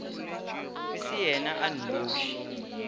e se yena a nnoši